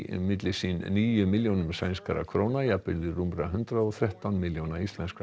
milli sín níu milljónum sænskra króna jafnvirði rúmra hundrað og þrettán milljóna íslenskra